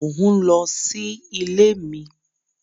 Mo ń lọ sí ilé mi